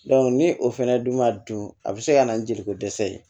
ni o fɛnɛ dun ma dun a bɛ se ka na ni jeliko dɛsɛ ye